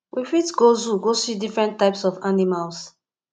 we fit go zoo go see different types of animals